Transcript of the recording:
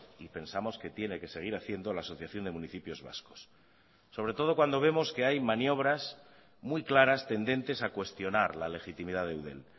y pensamos que tiene que seguir haciendo la asociación de municipios vascos sobre todo cuando vemos que hay maniobras muy claras tendentes a cuestionar la legitimidad de eudel